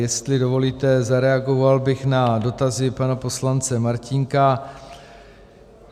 Jestli dovolíte, zareagoval bych na dotazy pana poslance Martínka.